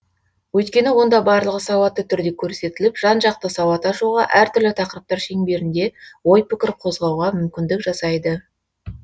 өйткені онда барлығы сауатты түрде көрсетіліп жан жақты сауат ашуға әртүрлі тақырыптар шеңберінде ой пікір қозғауға мүмкіндік жасайды